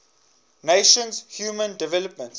nations human development